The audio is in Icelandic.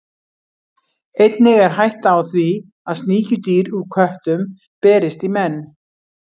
Einnig er hætta á því að sníkjudýr úr köttum berist í menn.